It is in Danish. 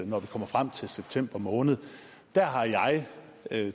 når vi kommer frem til september måned der har jeg